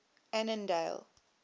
annandale